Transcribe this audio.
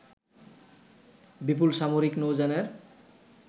বিপুল সামরিক নৌযানের